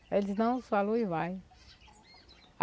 Ele disse, não, falou e vai.